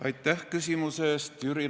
Aitäh küsimuse eest!